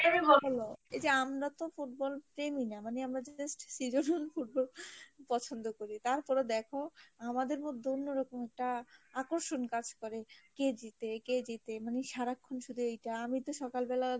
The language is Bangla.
এই যে আমরা তো ফুটবলপ্রেমী না মানে আমরা just ফুটবল পছন্দ করি তারপরে, দেখো আমাদের মধ্যে অন্যরকম একটা আকর্ষণ কাজ করে কে জিতে কে জিতে, মানে সারাক্ষণ শুধু এইটা আমি তো সকালবেলা